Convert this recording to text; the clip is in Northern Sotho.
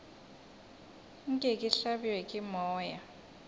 nke ke hlabje ke moya